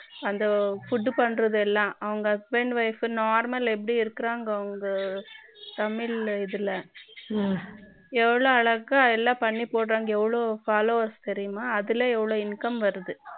அந்த food பண்றது எல்லாம் அவங்க husband wife normal ஏப்படி இருகாங்கோ அவங்க தமிழ் இதுல ம்ம எவ்ளோ அழகா எல்லாம் பண்ணி போடுறாங்க எவ்வளவு followers தெரியுமா அதுல எவ்ளோ income வருது